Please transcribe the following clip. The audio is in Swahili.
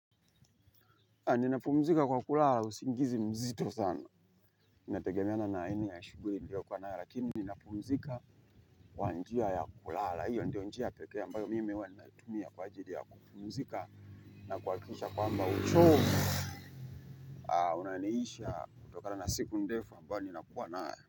Ninapumzika kwa kulala, usingizi mzito sana, inategemiana na haini ya shuguli niliokwa nae, lakini ninapumzika kwa njia ya kulala, hiyo ndiyo njia peke ambayo mimi huwanatumia kwaajili ya kupumzika na kuhakisha kwamba uchovu, unanisha kutokana na siku ndefu ambayo ninakuwa nae.